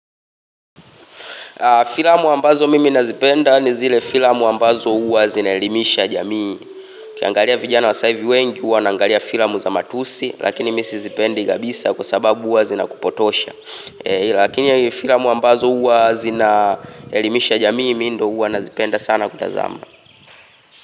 Filamu ambazo mimi nazipenda ni zile filamu ambazo huwa zinaelimisha jamii Ukiangalia vijana wa saivi wengi huwa wanaangalia filamu za matusi Lakini mi sizipendi kabisa kwa sababu huwa zinakupotosha Lakini filamu ambazo huwa zinaelimisha jamii mi ndo huwa nazipenda sana kutazama.